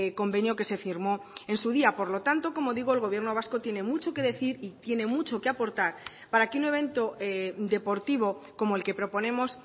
convenio que se firmó en su día por lo tanto como digo el gobierno vasco tiene mucho que decir y tiene mucho que aportar para que un evento deportivo como el que proponemos